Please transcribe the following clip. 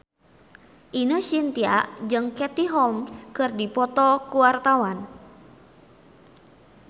Ine Shintya jeung Katie Holmes keur dipoto ku wartawan